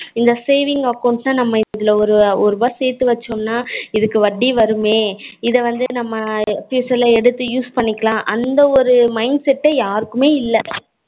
இந்த saving account ல நம்ம இதுல ஒரு ரூபா சேத்து வச்சோம்னா இதுக்கு வட்டி வருமே இது வந்து நம்ம எடுத்து use பண்ணிக்கலாம் அந்த ஒரு mindset யாருக்குமே இல்ல